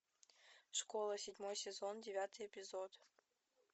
школа седьмой сезон девятый эпизод